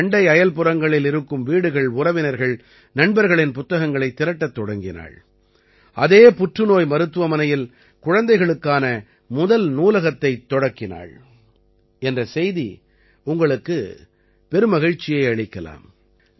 தனது அண்டை அயல்புறங்களில் இருக்கும் வீடுகள் உறவினர்கள் நண்பர்களின் புத்தகங்களைத் திரட்டத் தொடங்கினாள் அதே புற்றுநோய் மருத்துவமனையில் குழந்தைகளுக்கான முதல் நூலகத்தைத் துவக்கினாள் என்ற செய்தி உங்களுக்கு பெருமகிழ்ச்சியை அளிக்கலாம்